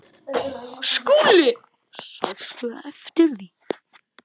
SKÚLI: Sástu eftir því?